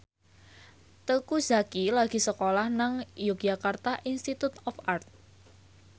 Teuku Zacky lagi sekolah nang Yogyakarta Institute of Art